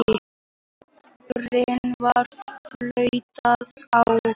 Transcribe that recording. Leikurinn var flautaður á.